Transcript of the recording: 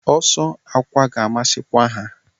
Ọsọ akwa ga-amasịkwa ha.